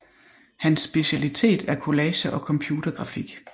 Hans specialitet er collager og computergrafik